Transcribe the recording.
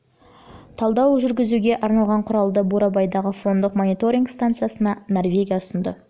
талдау жүргізуге арналған құралды бурабайдағы фондық мониторинг станциясына норвегия ұсынды тарауда